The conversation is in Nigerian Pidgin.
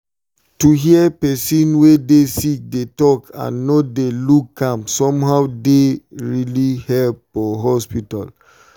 to hear person wey dey sick dey talk and no dey look am somehow dey really help for hospital.